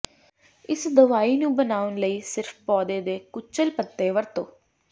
ਇਸ ਦਵਾਈ ਨੂੰ ਬਣਾਉਣ ਲਈ ਸਿਰਫ ਪੌਦੇ ਦੇ ਕੁਚਲ ਪੱਤੇ ਵਰਤੋ